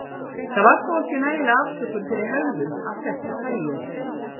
Það var þó ekki nægileg afsökun fyrir hegðun af þessu tagi.